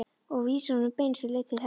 Og vísar honum beinustu leið til heljar.